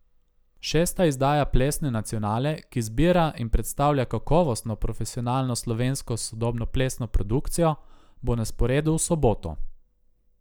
Šesta izdaja Plesne nacionale, ki zbira in predstavlja kakovostno, profesionalno slovensko sodobnoplesno produkcijo, bo na sporedu v soboto.